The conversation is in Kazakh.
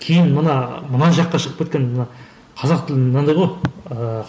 кейін мына мына жаққа шығып кеткен мына қазақ тілі мынандай ғой ыыы